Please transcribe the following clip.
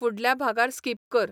फुडल्या भागार स्किप कर